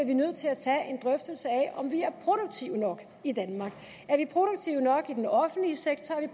vi nødt til at tage en drøftelse af om vi er produktive nok i danmark er vi produktive nok i den offentlige sektor er